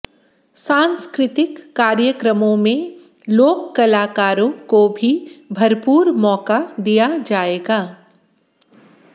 सांस्कृतिक कार्यक्रमों में लोक कलाकारों को भी भरपूर मौका दिया जाएगा